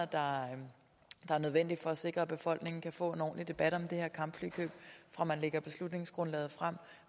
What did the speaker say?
der er nødvendige for at sikre at befolkningen kan få en ordentlig debat om det her kampflykøb fra man lægger beslutningsgrundlaget frem